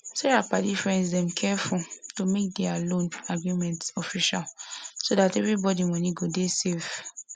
sarah padifriends dem careful to make their loan agreement official so that everybody money go dey safe